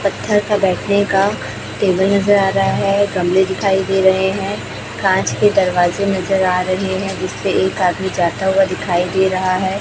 पत्थर पर बैठने का टेबल नजर आ रहा है गमले दिखाई दे रहे है कांच के दरवाजे नज़र आ रहे हैं जिसपे एक आदमी जाता हुआ दिखाई दे रहा है।